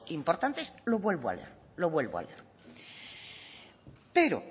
importantes lo vuelvo a leer pero